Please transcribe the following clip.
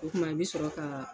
O kuma i bi sɔrɔ ka